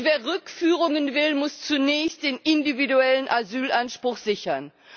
Wer Rückführungen will, muss zunächst den individuellen Asylanspruch sichern.